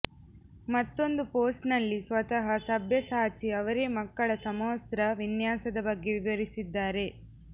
ಮತ್ತೊಂದು ಪೋಸ್ಟ್ ನಲ್ಲಿ ಸ್ವತಃ ಸಭ್ಯಸಾಚಿ ಅವರೇ ಮಕ್ಕಳ ಸಮವಸ್ತ್ರ ವಿನ್ಯಾಸದ ಬಗ್ಗೆ ವಿವರಿಸಿದ್ದಾರೆ